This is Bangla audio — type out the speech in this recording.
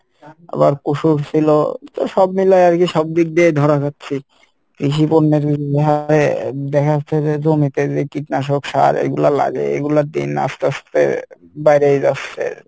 আবার কুসুর সিলো তো সব মিলে আরকি সব দিক দিয়েই ধরা হচ্ছি কৃষি দেখা যাচ্ছে যে জমিতে যে কীটনাশক সার এইগুলা লাগায়ে এইগুলার দিন আস্তে আস্তে বেরেই যাচ্ছে,